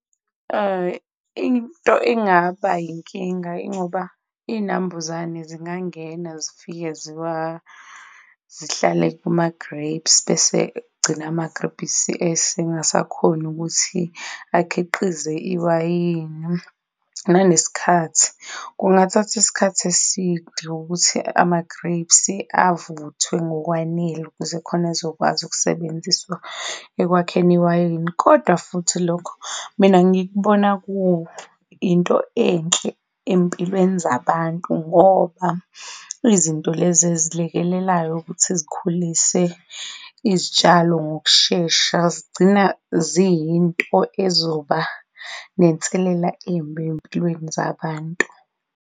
Into engaba inkinga yingoba iy'nambuzane zingangena zifike zihlale kuma-grapes bese kugcina amagrebhisi engasakhoni ukuthi akhiqize iwayini, nanesikhathi, kungathathi isikhathi eside ukuthi ama-grapes avuthwe ngokwanele ukuze khona ezokwazi ukusebenziswa ekwakheni iwayini, kodwa futhi lokho mina ngikubona kuyinto enhle empilweni zabantu ngoba izinto lezi ezilekelelayo ukuthi zikhulise izitshalo ngokushesha zigcina ziyinto ezoba nenselela embi eyimpilweni zabantu.